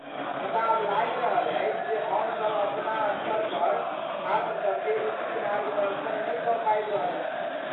मुदा आब लागि रहल अछि जे हमसब अपना स्तरपर छात्रसबकेँ उचित मार्गदर्शन नहि दऽ पाबि रहल छी।